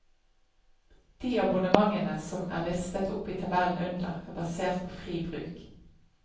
De abonnementene som er listet opp i tabellen under, er basert på fri bruk.